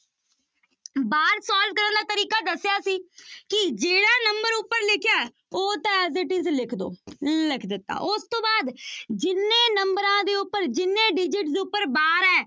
Bar solve ਕਰਨ ਦਾ ਤਰੀਕਾ ਦੱਸਿਆ ਸੀ ਕਿ ਜਿਹੜਾ ਨੰਬਰ ਉੱਪਰ ਲਿਖਿਆ ਹੈ ਉਹ ਤਾਂ as it is ਲਿਖ ਦਓ ਲਿਖ ਦਿੱਤਾ, ਉਸ ਤੋਂ ਬਾਅਦ ਜਿੰਨੇ ਨੰਬਰਾਂ ਦੇ ਉੱਪਰ ਜਿੰਨੇ digit ਦੇ ਉੱਪਰ bar ਹੈ